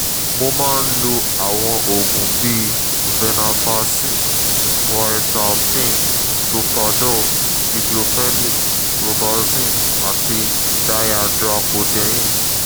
mo máa ń lo àwọn oògùn bíi venlafaxine quetiapine solpadol diclofenic robaxin àti dihydracodeine